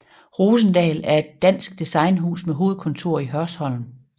Rosendahl er et dansk designhus med hovedkontor i Hørsholm